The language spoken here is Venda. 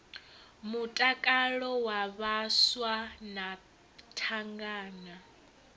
mutakalo wa vhaswa na thangana